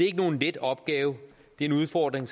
ikke nogen let opgave det er en udfordring